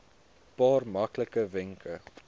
paar maklike wenke